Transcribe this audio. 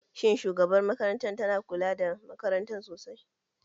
Shin shugabar makarantar na kula da makarantar sosai?